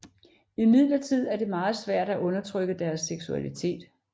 Imidlertid er det meget svært at undertrykke deres seksualitet